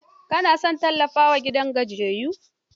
Ka na son tallafawa gidan gajiyayyun?